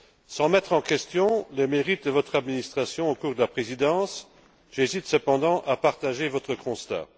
Sans remettre en question les mérites de votre administration au cours de la présidence, j'hésite cependant à partager votre constat.